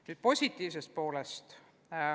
Nüüd positiivsest poolest.